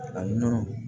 A nɔnɔ